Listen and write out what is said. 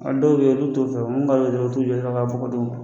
Hali dɔw bɛ ye ulu t'o fɛ u b'u t'u jɔ dɔrɔn ka fɔ